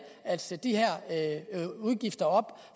at sætte de her udgifter op